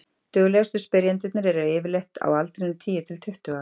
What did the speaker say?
duglegustu spyrjendurnir eru yfirleitt á aldrinum tíu til tuttugu ára